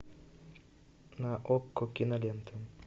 на окко кинолента